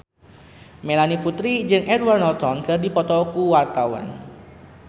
Melanie Putri jeung Edward Norton keur dipoto ku wartawan